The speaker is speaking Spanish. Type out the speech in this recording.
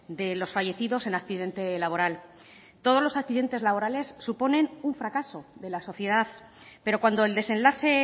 de los fallecidos en accidente laboral todos los accidentes laborales suponen un fracaso de la sociedad pero cuando el desenlace